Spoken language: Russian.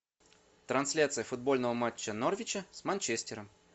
трансляция футбольного матча норвича с манчестером